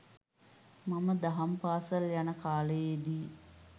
මම දහම් පාසල් යන කාලයේදී